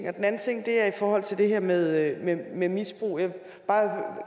anden ting er i forhold til det her med med misbrug jeg vil bare